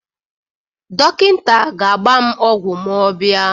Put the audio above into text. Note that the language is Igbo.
Dọkịta ga-agba m ọgwụ ma ọ bịa.